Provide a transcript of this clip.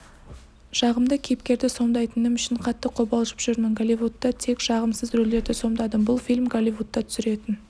жағымды кейіпкерді сомдайтыным үшін қатты қобалжып жүрмін голливудта тек жағымсыз рөлдерді сомдадым бұл фильм голливудта түсіретін